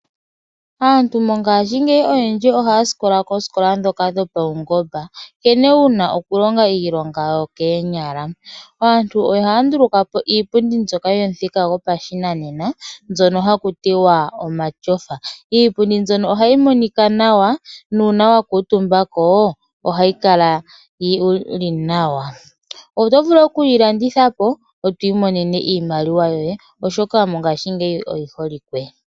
Aantu oyendji mongashingeyi ohaya sikola koosikola dhopaungomba nkene wuna okulongaiilonga yokoonyala. Aantu ohaya ndulukapo iipundi mbyoka yomuthika gwopashinanena mbyono ha kutiwa omatyofa. Iipundi mbyono ohayi monika nawa nuuna wakuutumbako ohayi kala wuli nawa. Oto vulu okuyilandithapo wu mone iimaliwa oshoka mongashingeyi oyi holike.